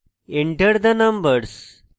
enter the numbers